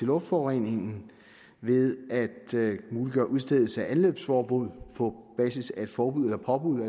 luftforureningen ved at muliggøre udstedelse af anløbsforbud på basis af et forbud eller påbud